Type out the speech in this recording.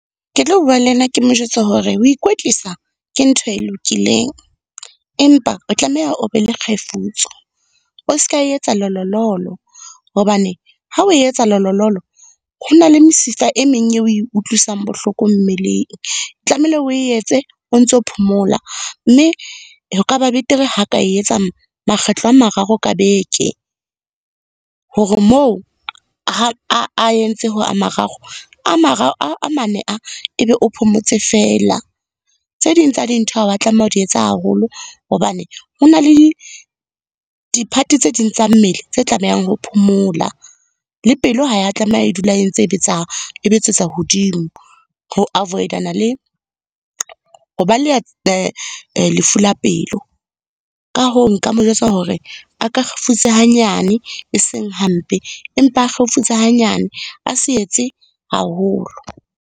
Ke tlo bua le yena, ke mo jwetse hore ho ikwetlisa ke ntho e lokileng, empa o tlameha o be le kgefutso. O seka etsa lololo hobane ha o etsa lololo ho na le mesifa e meng e o e utlwisang bohloko mmeleng. Tlameile o e etse, o ntso phomola mme ho ka ba betere ha ka etsa makgetlo a mararo ka beke, hore moo ha entse ho a mararo a , a mane e be o phomotse feela. Tse ding tsa dintho ha wa tlameha ho di etsa haholo hobane hona le di-part tse ding tsa mmele tse tlamehang ho phomola. Le pelo ha ya tlameha e dula e ntse e , e betsetsa hodimo, ho avoid-ana le ho baleha lefu la pelo. Ka hoo, nka mo jwetsa hore a ka kgefutse hanyane e seng hampe, empa a kgefutse hanyane, a se etse haholo.